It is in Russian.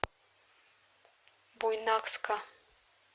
буйнакска